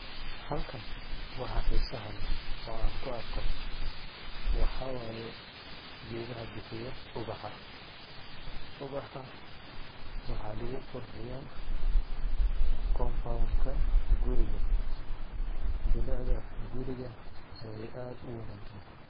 Halkan waxa xiiso hale ayaan ku arko, waxa waayee geedaha bihiya ubaxa. Ubaxa waxaa lagu qurxiyaa compound ka guriga. Bilecida guriga ayay aad u wanaajiyen.